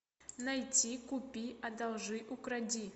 найти купи одолжи укради